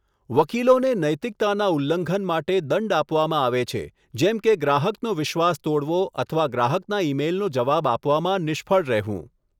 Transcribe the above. વકીલોને નૈતિકતાના ઉલ્લંઘન માટે દંડ આપવામાં આવે છે, જેમ કે ગ્રાહકનો વિશ્વાસ તોડવો અથવા ગ્રાહકના ઈમેઈલનો જવાબ આપવામાં નિષ્ફળ રહેવું.